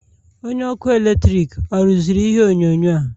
Onye ọkụ eletrik ọ rụziri ihe onyonyo a?